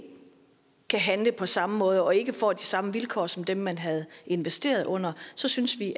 kan handle på samme måde og ikke får de samme vilkår som dem man havde investeret under så synes vi